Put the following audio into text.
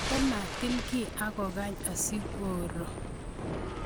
Ako matil kiy ak kokeny asikoro